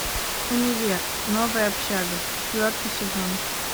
универ новая общага четвертый сезон